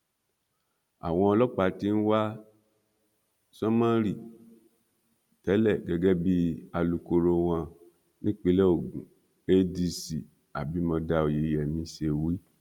àwọn ọlọpàá tí ń wá sómórì tẹlẹ gẹgẹ bí alūkkóró wọn nípìnlẹ ogun adc abimodá oyeyèmí ṣe wí